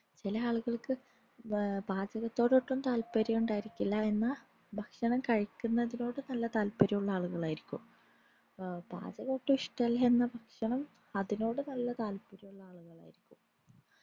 ചില ആളുകൾക്കു വേറെ പാചകത്തോട് ഒട്ടും താത്പര്യവും ഉണ്ടായിരിക്കില്ല എന്ന ഭക്ഷണം കഴുകുന്നതിനോട് നല്ല താത്പര്യമുള്ള ആളുകളായിരിക്കും ഏർ പാചകം ഒട്ടും ഇഷ്ടല്ല എന്ന ഭക്ഷണം അതിനോട് നല്ല താത്‌പര്യമുളള ആളുകൾ ആയിരിക്കും